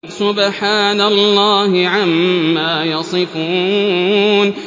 سُبْحَانَ اللَّهِ عَمَّا يَصِفُونَ